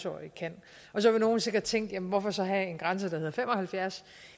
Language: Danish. årige kan så vil nogle sikkert tænke hvorfor så have en grænse der hedder fem og halvfjerds